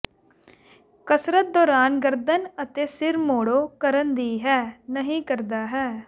ਕਸਰਤ ਦੌਰਾਨ ਗਰਦਨ ਅਤੇ ਸਿਰ ਮੋੜੋ ਕਰਨ ਦੀ ਹੈ ਨਹੀ ਕਰਦਾ ਹੈ